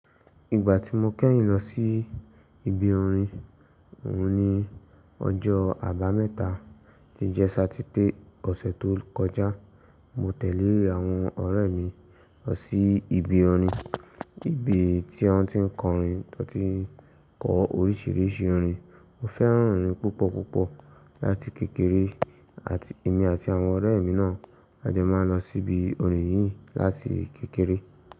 Ìgbà tí mo kẹ́yìn lọ sí ibi orin òun ni ọjọ́ àbámẹ́ta tí jẹ́ Sátidé ọ̀sẹ̀ tó kọjá. Mo tẹ̀lé àwọn ọ̀rẹ́ mi lọ sí ibi orin, ibi tí wọ́n ti ń kọrin, wọ́n ti ń kọ orísìírísìí orin. Mo fẹ́ràn orin púpọ̀ púpọ̀ láti kékeré, àti èmi àti àwọn ọ̀rẹ́ mi náà a jọ máa lọ sí ibi orin yìí láti kékeré.